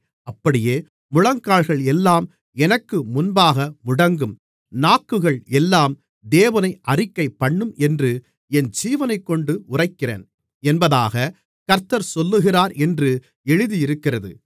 அப்படியே முழங்கால்கள் எல்லாம் எனக்கு முன்பாக முடங்கும் நாக்குகள் எல்லாம் தேவனை அறிக்கைப்பண்ணும் என்று என் ஜீவனைக்கொண்டு உரைக்கிறேன் என்பதாகக் கர்த்தர் சொல்லுகிறார் என்று எழுதியிருக்கிறது